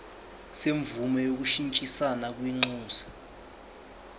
semvume yokushintshisana kwinxusa